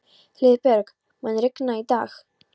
Hlíðberg, mun rigna í dag?